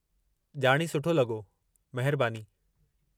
ॼाणीं सुठो लॻो, मेहरबानी।